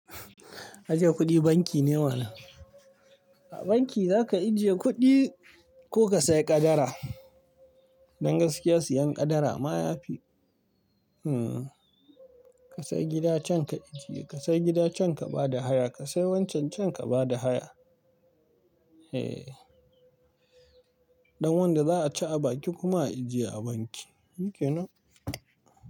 Ajiye kuɗi banki ne mana. A banki za ka ajiye kuɗi ko ka sayi ƙadara. Don gaskiya siyan ƙadara ma yafi. Hmm ka sayi gida can ka ajiye, ka sayi gida can ka ba da haya, ka sayi wancan can ka ba da haya. Don wanda za a ci a baki kuma a ajiye a banki, shuke ne?